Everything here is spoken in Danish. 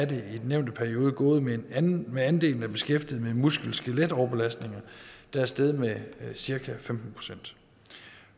den nævnte periode gået med med andelen af beskæftigede med muskel og skeletoverbelastninger der er steget med cirka femten procent